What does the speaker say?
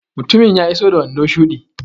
Mutumin ya iso da wando shuɗi.